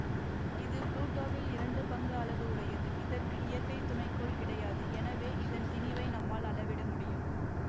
இது புளூட்டோவில் இரண்டு பங்கு அளவு உடையதுஇதற்கு இயற்கை துணை கோள் கிடையாது எனவே இதன் திணிவை நம்மால் அளவிட முடியும்